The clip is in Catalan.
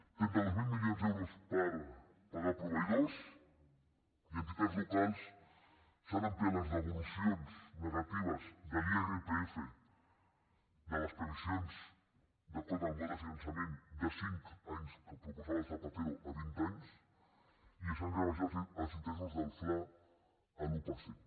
trenta dos mil milions d’euros per pagar proveïdors i enti·tats locals s’han ampliat les devolucions negatives de l’irpf de les previsions d’acord amb el model de fi·nançament de cinc anys que proposava zapatero a vint anys i s’han rebaixat els interessos del fla a l’un per cent